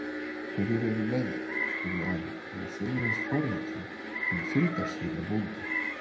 Hverjir er með þér? spurði Ari og var sömuleiðis forvitinn um fylgdarsveina bónda.